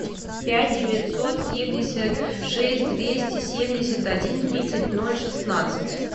пять девятьсот семьдесят шесть двести семьдесят один тридцать ноль шестнадцать